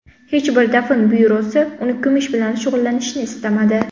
Hech bir dafn byurosi uni ko‘mish bilan shug‘ullanishni istamadi.